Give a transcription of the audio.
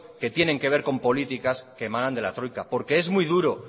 que tienen que ver con políticas que manan de la troika porque es muy duro